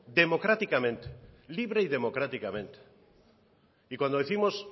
libre y democráticamente y cuando décimos